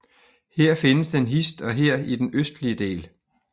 Her findes den hist og her i den østlige del